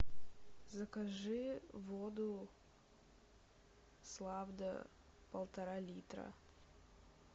закажи воду славда полтора литра